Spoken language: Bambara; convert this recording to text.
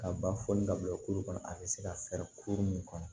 Ka ba foli ka bila kulu kɔnɔ a bɛ se ka fɛɛrɛ kuru min kɔnɔ